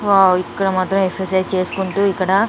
wow ఇక్కడ మాత్రం exercise చేసుకుంటూ ఇక్కడ --